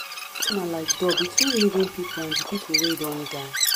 na like door between living people and di people wey don die.